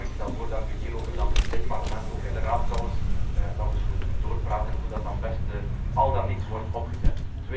Maar ik stel voor dat we hierover dan in dit Parlement, en ook in de Raad trouwens, nog eens goed doorpraten over hoe dat dan best al dan niet wordt opgezet.